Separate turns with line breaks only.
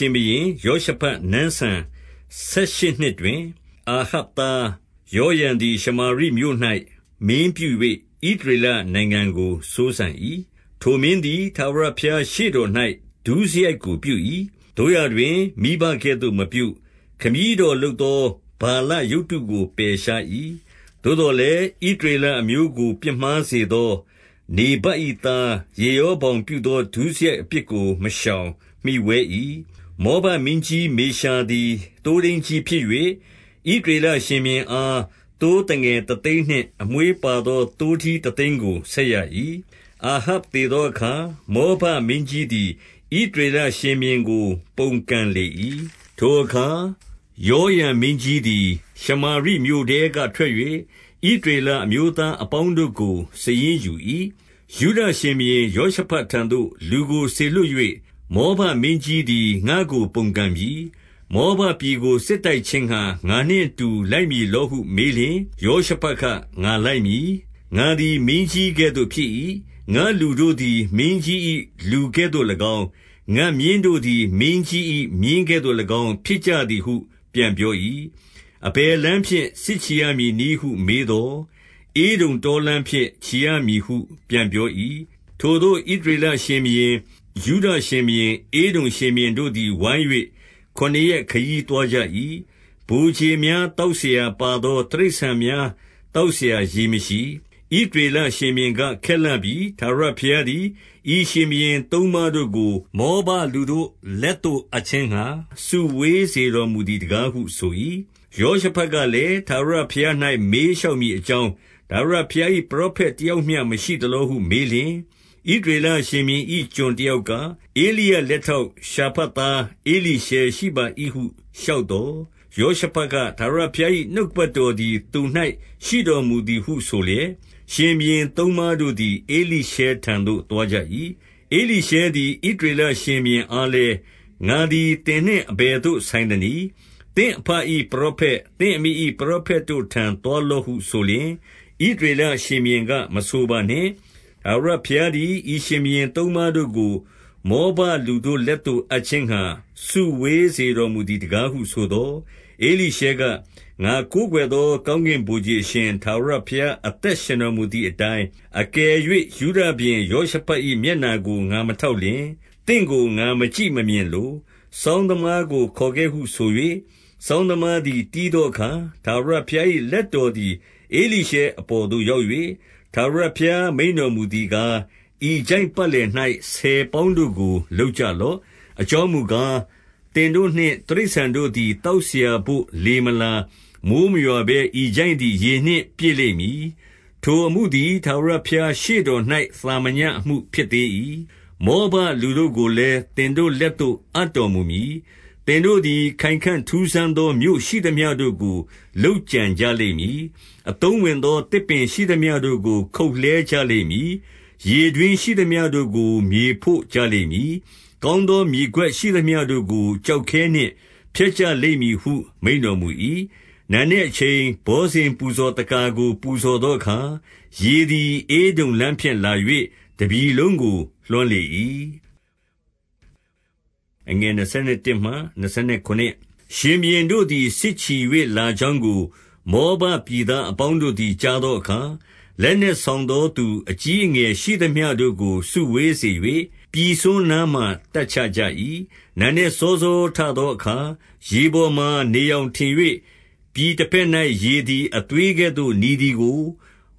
ှင်ဘုရင်ယောရှဖတ်နန်းစံဆယ်ရှစ်နှစ် တွင်၊ အာဟပ်သား ယောရံသည်ရှမာရိမြို့၌ မင်းပြု၍ ဣသရေလနိုင်ငံကို စိုးစံ၏။ 2 ထိုမင်းသည် ထာဝရဘုရားရှေ့တော်၌ ဒုစရိုက် ကို ပြု၏။ သို့ရာတွင် မိဘကဲ့သို့မပြု။ ခမည်းတော်လုပ် သော ဗာလရုပ်တုကို ပယ်ရှား၏။ 3 သို့သော်လည်း ဣသရေလအမျိုးကို ပြစ်မှားစေ သော နေဗတ်၏သား ယေရောဗောင်ပြုသော ဒုစရိုက် အပြစ်ကို မရှောင်မှီဝဲ၏။ 4 မောဘမင်းကြီး မေရှာသည် သိုးထိန်းကြီး ဖြစ်၍၊ ဣသရေလရှင်ဘုရင်အား သိုးသငယ်တသိန်းနှင့် အမွေး ပါသော သိုးထီးတသိန်းကို ဆက်ရ၏။ 5 အာဟပ်သေသောအခါ၊ မောဘမင်းကြီးသည် ဣသရေလရှင်ဘုရင်ကို ပုန်ကန်လေ၏။ 6 ထိုအခါ ယောရံမင်းကြီးသည် ရှမာရိမြို့ထဲက ထွက်၍ ဣသရေလအမျိုးသားအပေါင်းတို့ကို စာရင်း ယူ၏။ 7 ယုဒရှင်ဘုရင် ယောရှဖတ်ထံသို့ လူကိုစေလွှတ် ၍၊ မောဘမင်း ကြီးသည် ငါ့ကိုပုန်ကန်ပြီ။ မောဘပြည်ကို စစ်တိုက်ခြင်းငှါ ငါနှင့်အတူ လိုက်မည်လောဟု မေးလျှင်၊ ယောရှဖတ်က ငါလိုက်မည်။ ငါသည် မင်းကြီး ကဲ့သို့ ဖြစ်၏။ ငါ့လူတို့သည် မင်းကြီး၏ လူကဲ့သို့၎င်း၊ ငါ့မြင်းတို့သည် မင်းကြီး၏ မြင်းကဲ့သို့၎င်း ဖြစ်ကြသည်ဟု ပြန်ပြော၏။ 8 အဘယ်လမ်းဖြင့် စစ်ချီရမည်နည်းဟုမေးသော်၊ ဧဒုံတောလမ်းဖြင့် ချီရမည်ဟုပြန်ပြော၏။ 9 ထိုသို့ဣသရေလရှင်ဘုရင်၊ ယုဒရှင်ဘုရင်၊ ဧဒုံ ရှင်ဘုရင်တို့သည် ဝိုင်း၍ခုနှစ်ရက် ခရီးသွားကြ၏။ ဗိုလ်ခြေများ သောက်စရာ၊ ပါသော တိရစ္ဆာန် များသောက်စရာ ရေမရှိ။ 10 ဣသရေလရှင်ဘုရင်က၊ ခက်လှပြီ။ ထာဝရ ဘုရားသည် ဤရှင် ဘုရင်သုံးပါးတို့ကို မောဘလူတို့ လက်သို့အပ်ခြင်းငှါ စုဝေးစေတော်မူသည်တကားဟု ဆို၏။ 11 ယောရှဖတ်ကလည်း၊ ထာဝရဘုရား၌ မေး လျှောက်မည်အကြောင်း၊ ထာဝရဘုရား၏ ပရောဖက် တယောက်မျှမရှိသလောဟုမေးလျှင်၊ ဣသရေလ ရှင်ဘုရင်၏ ကျွန်တယောက်က၊ ဧလိယလက်ထောက် ရှာဖတ်သားဧလိရှဲရှိပါ၏ဟု လျှောက်သော်၊ 12 ယောရှဖတ်က၊ ထာဝရဘုရား၏နှုတ်ကပတ် တော်သည် သူ၌ရှိတော်မူသည်ဟုဆိုလျက်၊ ရှင်ဘုရင် သုံးပါးတို့သည် ဧလိရှဲထံသို့သွားကြ၏။ 13 ဧလိရှဲသည် ဣသရေလရှင်ဘုရင်အားလည်း၊ ငါသည်သင်နှင့် အဘယ်သို့ ဆိုင်သနည်း။ သင့်အဘ၏ ပရောဖက်၊ သင့်အမိ၏ ပရောဖက်တို့ထံသို့ သွားလော့ဟု ဆိုလျှင်၊ ဣသရေလရှင်ဘုရင်က၊ မဆိုပါနှင့်။ ထာဝရ ဘုရားသည် ဤရှင်ဘုရင်သုံးပါးတို့ကို မောဘလူတို့ လက်သို့ အပ်ခြင်းငှါ စုဝေးစေတော်မူသည်တကားဟု ဆိုသော်၊ 14 ဧလိရှဲက၊ ငါကိုးကွယ်သော ကောင်းကင်ဗိုလ် ခြေအရှင် ထာဝရဘုရား အသက်ရှင်တော်မူသည် အတိုင်း၊ အကယ်၍ ယုဒရှင်ဘုရင်ယောရှဖတ်၏ မျက်နှာ ကို ငါမထောက်လျှင်၊ သင့်ကို ငါမကြည့်မမြင်လို။ 15 စောင်းသမားကို ခေါ်ခဲ့ဟုဆို၍ စောင်းသမား သည် တီးသော အခါ၊ ထာဝရဘုရား၏ လက်တော်သည် ဧလိရှဲအပေါ်သို့ ရောက်၍၊ 16 ထာဝရဘုရားမိန့်တော်မူသည်ကား၊ ဤချိုင့်ပတ် လည်၌ ဆယ်ပေါင်းတို့ကို လုပ်ကြလော့။ 17 အကြောင်းမူကား၊ သင်တို့နှင့်တိရစ္ဆာန်တို့သည် သောက်စရာဘို့ လေမလာ၊ မိုဃ်းမရွာဘဲ ဤချိုင့်သည် ရေနှင့်ပြည့်လိမ့်မည်။ 18 ထိုအမှုသည် ထာဝရဘုရားရှေ့တော်၌ သာမည အမှုဖြစ်သေး၏။ မောဘလူတို့ကိုလည်း သင်တို့လက်သို့ အပ်တော်မူမည်။ 19 သင်တို့သည် ခိုင်ခံ့ထူးဆန်းသော မြို့ရှိသမျှတို့ကို လုပ်ကြံကြလိမ့်မည်။ အသုံးဝင်သော သစ်ပင်ရှိသမျှတို့ကို ခုတ်လှဲကြလိမ့်မည်။ ရေတွင်းရှိသမျှတို့ကို မြေဖို့ကြလိမ့်မည်။ ကောင်း သော မြေကွက် ရှိသမျှတို့ကို ကျောက်ခဲနှင့် ဖျက်ကြလိမ့် မည်ဟု မိန့်တော်မူ၏။ 20 နံနက်အချိန် ဘောဇဉ်ပူဇော်သက္ကာကို ပူဇော် သောအခါ၊ ရေသည် ဧဒုံလမ်းဖြင့်လာ၍ တပြည်လုံးကို လွှမ်းလေ၏။ 21 ရှင်ဘုရင်တို့သည် စစ်ချီ၍ လာကြောင်းကို မောဘပြည်သားအပေါင်းတို့သည် ကြားသောအခါ၊ လက်နက်ဆောင်သောသူ အကြီးအငယ်ရှိသမျှတို့ကို စုဝေးစေ၍၊ ပြည်စွန်းနားမှာ တပ်ချကြ၏။ 22 နံနက်စောစောထသောအခါ၊ ရေပေါ်မှာ နေရောင်ထင်၍၊ ပြည် တဘက်၌ ရေသည်အသွေးကဲ့သို့ နီသည်ကို